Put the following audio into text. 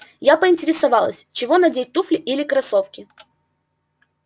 я поинтересовалась чего надевать туфли или кроссовки